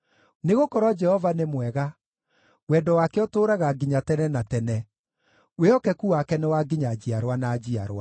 Nĩgũkorwo Jehova nĩ mwega, wendo wake ũtũũraga nginya tene na tene; wĩhokeku wake nĩ wa nginya njiarwa na njiarwa.